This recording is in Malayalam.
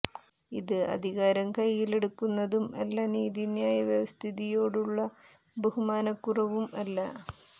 ഇത് അധികാരം കൈയിൽ എടുക്കുന്നതും അല്ല നീതിന്യായ വ്യവസ്ഥിതിയോടുള്ള ബഹുമാനക്കുറവും അല്ല